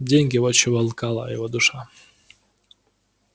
деньги вот чего алкала его душа